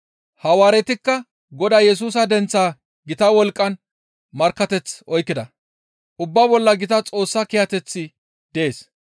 Hawaaretikka Godaa Yesusa denththaa gita wolqqan markkateth oykkida; ubbaa bolla gita Xoossa kiyateththi dees.